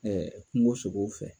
kungo sogow fɛ.